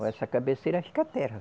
Olha, essa cabeceira, acho que é terra.